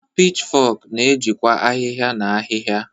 Pichfok na-ejikwa ahihia na ahịhịa.